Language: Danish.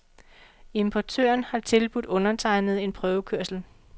Importøren har tilbudt undertegnede en prøvekørsel.